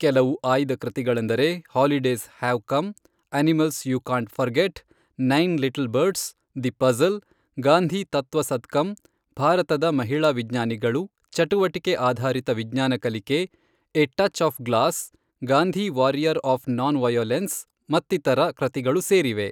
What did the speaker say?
ಕೆಲವು ಆಯ್ದ ಕೃತಿಗಳೆಂದರೆ holidays have come, animals you can't forget, nine little birds, the puzzle, Gandhi ತತ್ವ ಸತ್ಕಮ್, ಭಾರತದ ಮಹಿಳಾ ವಿಜ್ಞಾನಿಗಳು, ಚಟುವಟಿಕೆ ಆಧಾರಿತ ವಿಜ್ಞಾನ ಕಲಿಕೆ, a touch of glass, Gandhi warrior of non violence ಮತ್ತಿತರ ಕೃತಿಗಳು ಸೇರಿವೆ.